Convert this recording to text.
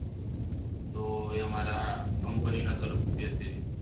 તો એ મારા company તરફથી હતી